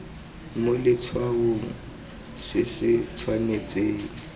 mo letshwaong se se tshwanetseng